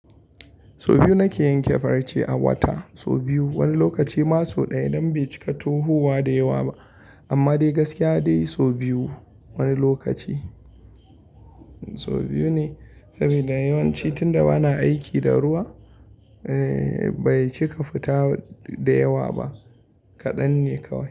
Sau biyu nake yanke farce a wata, sau biyu. Wani lokaci ma sau ɗaya idan bai cika tohuwa da yawa ba. Amma dai gaskiya dai sau biyu wani lokaci. Sau biyu ne saboda yawanci tunda bana aiki da ruwa, eh bai cika fita da yawa ba. Kaɗan ne kawai.